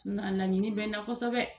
Na laɲini bɛ n na kosɛbɛ